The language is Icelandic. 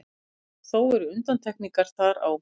Þó eru undantekningar þar á.